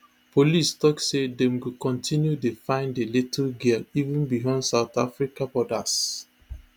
police tok say dem go continue dey find di little girl even beyond south africa borders